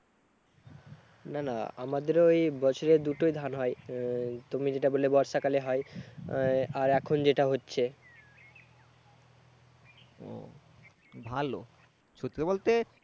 না না আমাদের ঐ বৎসরে দুটো ধান হয়। এর তুমি যেটা বললে বর্ষাকালে হয় আর এখন যেটা হচ্ছে। উহ ভালো, সত্যি বলতে